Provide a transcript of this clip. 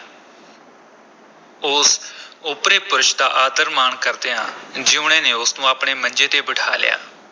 ਉਸ ਓਪਰੇ ਪੁਰਸ਼ ਦਾ ਆਦਰ-ਮਾਣ ਕਰਦਿਆਂ ਜੀਊਣੇ ਨੇ ਉਸ ਨੂੰ ਆਪਣੇ ਮੰਜੇ ’ਤੇ ਬਿਠਾ ਲਿਆ।